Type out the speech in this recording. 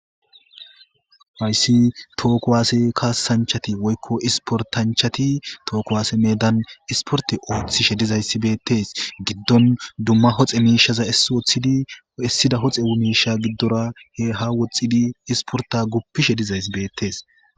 fayssi tookkowaase kaasanchati woykko isportanchati tookowaase meedan isporte ooththishe dizayssi beettes giddon dumma hoxe miishaza essi ooththidi issida hoxe wu miisha giddora he ha woxxidi isporta guppishe dizays beettees